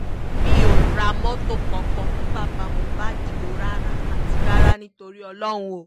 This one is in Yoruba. mi ò ra mọ́tò kankan fún bàbá mohbad o rárá àti rárá ni torí ọlọ́run o